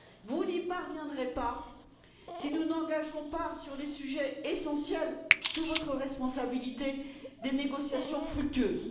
Vous n'y parviendrez pas si nous n'engageons pas, sur les sujets essentiels, sous votre responsabilité, des négociations fructueuses.